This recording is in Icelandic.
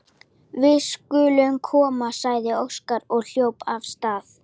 Við skulum koma, sagði Óskar og hljóp af stað.